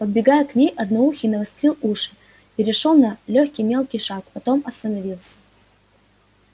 подбегая к ней одноухий навострил уши перешёл на лёгкий мелкий шаг потом остановился